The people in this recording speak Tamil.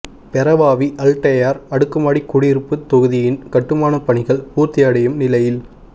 பேரவாவி அல்டெயார் அடுக்குமாடி குடியிருப்புத் தொகுதியின் கட்டுமாணப் பணிகள் பூர்த்தியடையும் நிலையில்